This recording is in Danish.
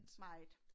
Meget